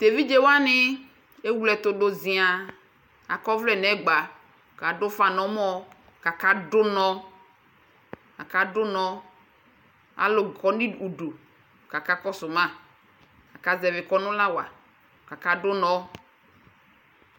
Tʋ evidze wanɩ ewle ɛtʋ dʋ zɩaa Akɔ ɔvlɛ nʋ ɛgba kʋ adʋ ʋfa nʋ ɔmɔ kʋ akadʋ ʋnɔ Akadʋ ʋnɔ Alʋ kɔ nʋ i udu kʋ akakɔsʋ ma Akazɛvɩ kɔnʋ la wa kʋ akadʋ ʋnɔ